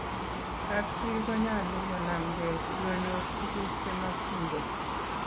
kap chii konyalu konamgei sikonyor tuguk che makchin gei